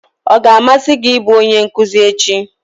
Ọ ga-amasị gị ịbụ onye nkuzi echi?